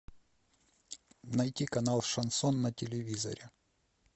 найти канал шансон на телевизоре